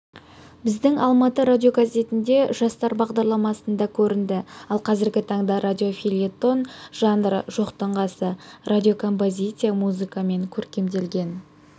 біздің алматы радиогазетінде жастар бағдарламасында көрінді ал қазіргі таңда радиофельетон жанры жоқтың қасы радиокомпозиция музыкамен көркемделген